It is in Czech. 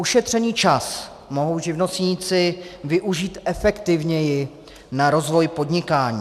Ušetřený čas mohou živnostníci využít efektivněji na rozvoj podnikání.